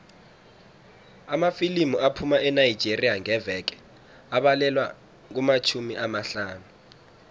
amafilimu aphuma enigeria ngeveke abalelwa kumatjhumi amahlanu